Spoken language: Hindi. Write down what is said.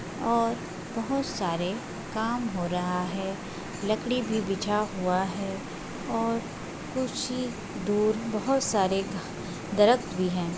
और बहोत सारे काम हो रहा है। लकड़ी भी बिछा हुआ है और कुछ ही दूर बोहोत सारे दरख़्त भी हैं।